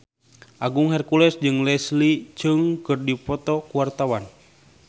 Agung Hercules jeung Leslie Cheung keur dipoto ku wartawan